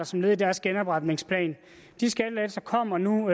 som led i deres genopretningsplan de skattelettelser kommer nu